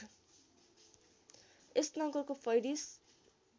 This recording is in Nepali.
यस नगरको फैरिस